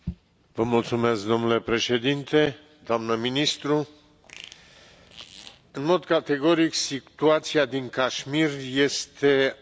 Domnule președinte, doamnă ministru, în mod categoric situația din Cașmir este alarmantă.